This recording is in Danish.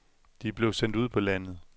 De blev sendt ud på landet.